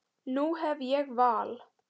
Nú hef ég val.